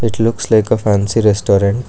It looks like a fancy restaurant.